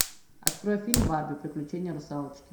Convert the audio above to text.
открой фильм барби приключение русалочки